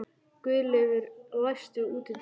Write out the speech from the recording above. Guðleifur, læstu útidyrunum.